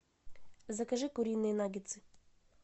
закажи куриные наггетсы